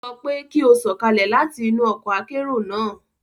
O sọ pe ki o sọkalẹ láti inú ọkọ akero naa!